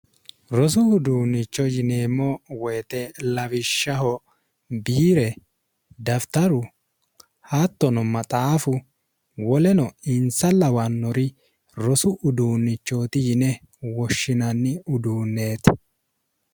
rosu uduunnicho yineemmo woyite lawishshaho biire dafitaru haattono maxaafu woleno insa lawannori rosu uduunnichooti yine woshshinanni uduunneeti